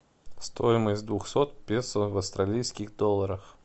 стоимость двухсот песо в австралийских долларах